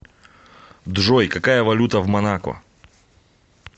джой какая валюта в монако